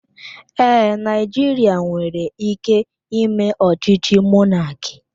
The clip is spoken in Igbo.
Ee, Naijiria nwere ike ime ọchịchị mọnaki